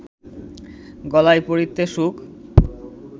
গলায় পরিতে সুখ